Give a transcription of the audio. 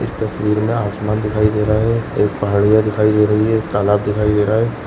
इस तस्वीर में आसमान दिखाई दे रहा है एक पहाड़िया दिखाई दे रही है तालाब दिखाई दे रहा है।